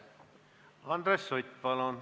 Andres Sutt, palun!